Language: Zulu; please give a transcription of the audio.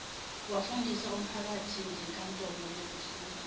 wafundisa umphakathingenkantolo yokufuna